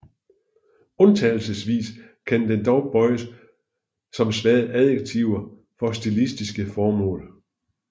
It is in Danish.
Undtagelsesvis kan den dog bøjes som svage adjektiver for stilistiske formål